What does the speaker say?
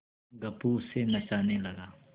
गप्पू उसे नचाने लगा